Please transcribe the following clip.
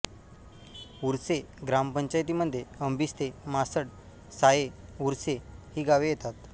उर्से ग्रामपंचायतीमध्ये आंबिस्ते म्हासड साये उर्से ही गावे येतात